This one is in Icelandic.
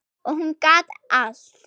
Og hún gat allt.